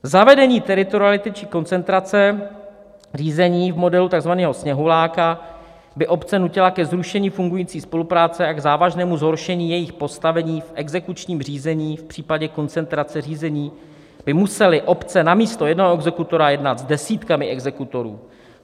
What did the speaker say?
"Zavedení teritoriality či koncentrace řízení v modelu takzvaného sněhuláka by obce nutila ke zrušení fungující spolupráce a k závažnému zhoršení jejich postavení v exekučním řízení, v případě koncentrace řízení by musely obce namísto jednoho exekutora jednat s desítkami exekutorů.